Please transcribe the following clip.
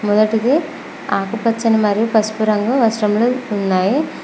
మొదటిది ఆకుపచ్చనీ మరియు పసుపు రంగు వస్త్రములు ఉన్నాయి.